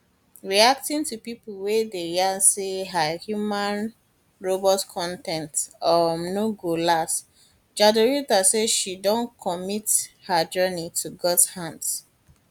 reacting to pipo wey dey yarn say her human robot con ten t um no go last jadrolita say she don commit her journey to god hands